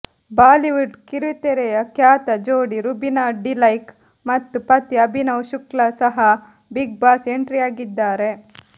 Bollywood ಕಿರುತೆರೆಯ ಖ್ಯಾತ ಜೋಡಿ ರುಬಿನಾ ಡಿಲೈಕ್ ಮತ್ತು ಪತಿ ಅಭಿನವ್ ಶುಕ್ಲಾ ಸಹ ಬಿಗ್ ಬಾಸ್ ಎಂಟ್ರಿಯಾಗಿದ್ದಾರೆ